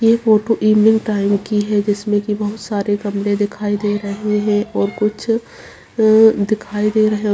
ये photo evening time की है जिसमे बहुत सारे गमले दिखाई दे रही हैं और कुछ दिखाई दे रहा है।